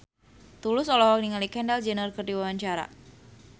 Tulus olohok ningali Kendall Jenner keur diwawancara